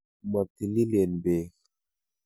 Motililen beek.